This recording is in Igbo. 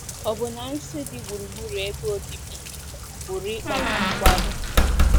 Ọbụna nsí dị gburugburu ebe obibi pụrụ ịkpata nkwarụ.